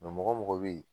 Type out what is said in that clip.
mɔgɔ o mɔgɔ be yen